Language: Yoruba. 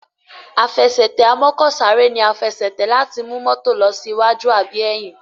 Àfẹsẹ̀tẹ̀ amọ́kọ̀sáré ní a Àfẹsẹ̀tẹ̀ láti mú mọ́tò ló sí waju àbí ẹyìn